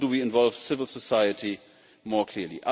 How do we involve civil society more clearly?